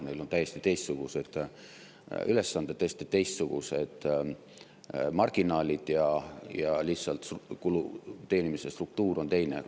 Neil on täiesti teistsugused ülesanded, täiesti teistsugused marginaalid ja teenimise struktuur on teine.